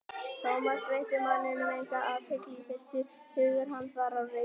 Thomas veitti manninum enga athygli í fyrstu, hugur hans var á reiki.